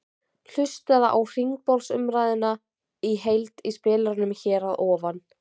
Hlustaðu á hringborðsumræðuna í heild í spilaranum hér að ofan.